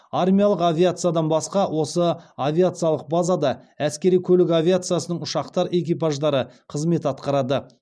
армиялық авиациядан басқа осы авиациялық базада әскери көлік авиациясының ұшқыштар экипаждары қызмет атқарады